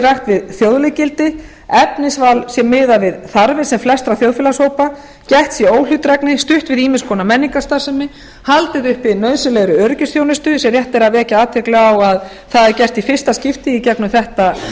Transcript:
við þjóðleg gildi efnisval sé miðað við þarfir sem flestra þjóðfélagshópa gætt sé óhlutdrægni stutt sé við ýmiss konar menningarstarfsemi haldið uppi nauðsynlegri öryggisþjónustu sem rétt er að vekja athygli á að það er gert í fyrsta skipti í gegnum